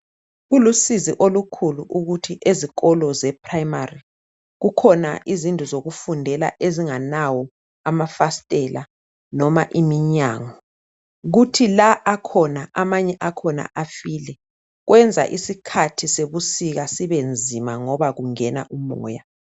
Kulusizi olukhulu ukuthi ezikolo zePrimary kukhona izindlu zokufundela ezingenawo amafasitela noma iminyango kuthi la akhona amanye akhona afile. Kwenza isikhathi sebusika sibenzima ngoba kungena umoya.